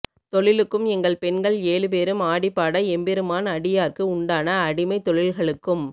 தொழிலுக்கும் எங்கள் பெண்கள் ஏழுபேரும் ஆடிபாட எம்பெருமான் அடியாற்கு உண்டான அடிமைத் தொழில்களுக்கும்